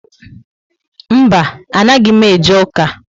Mba, anaghị m eje ụka